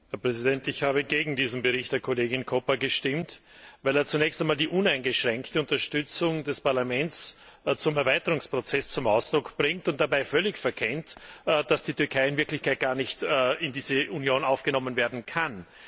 Herr Präsident! Ich habe gegen diesen Bericht der Kollegin Koppa gestimmt, weil er zunächst einmal die uneingeschränkte Unterstützung des Parlaments zum Erweiterungsprozess zum Ausdruck bringt und dabei völlig verkennt, dass die Türkei in Wirklichkeit gar nicht in diese Union aufgenommen werden kann.